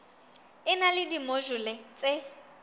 e na le dimojule tse